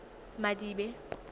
madibe